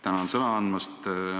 Tänan sõna andmast!